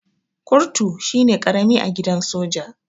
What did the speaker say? Kurtu shine karami a gidan soja.